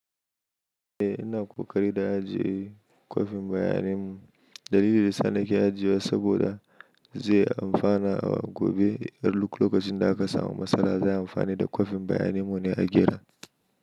Eh ina ƙoƙari da ajiye kwafin bayanin mu. Dalilin da sannu ke ajiye saboda zai amfana a gobe. Yar lokacin da aka samu matsala za a amfani da kwafin bayanin mu ne a gyara.